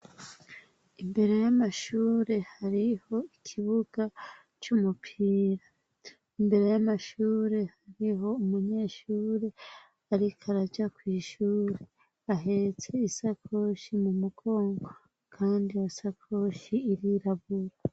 Imbere y'amashure hariho ikibuga, c'umupira imbere y'amashure hariho umunyeshure ariko araja kwishuri ahetse isakoshi mu mukongo kandi iyo sakoshi irirabura.